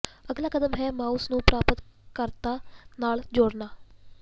ਅਗਲਾ ਕਦਮ ਹੈ ਮਾਉਸ ਨੂੰ ਪ੍ਰਾਪਤ ਕਰਤਾ ਨਾਲ ਜੋੜਨਾ